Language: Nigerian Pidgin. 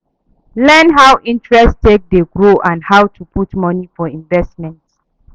Learn how interest take dey grow and how to put money for investment